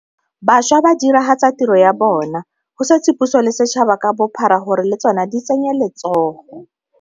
Bašwa ba diragatsa tiro ya bona, go setse puso le setšhaba ka bophara gore le tsona di tsenye letsogo.